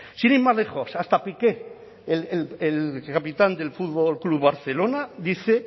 sin ir más lejos hasta piqué el capitán del fútbol club barcelona dice